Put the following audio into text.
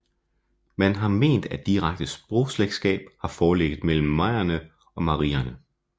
Man har ment at direkte sprogslægtskab har foreligget mellem merierne og marierne